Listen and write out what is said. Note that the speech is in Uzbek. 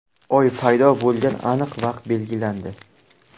Oy paydo bo‘lgan aniq vaqt belgilandi.